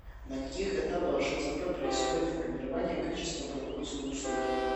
на каких этапах жцп происходит формирование качества продукции услуги